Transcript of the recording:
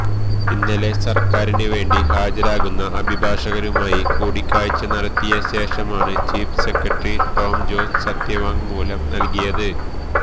ഇന്നലെ സര്ക്കാരിന് വേണ്ടി ഹാജരാകുന്ന അഭിഭാഷകരുമായി കൂടിക്കാഴ്ച നടത്തിയ ശേഷമാണ് ചീഫ് സെക്രട്ടറി ടോം ജോസ് സത്യവാങ്മൂലം നല്കിയത്